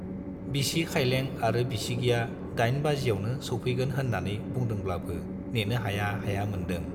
बिसि खाइलें आरो बिसिगिया दाइन बाजियावनो सौफैगोन होन्नानै बुंदोंब्लाबो नेनो हाया हाया मोन्दों।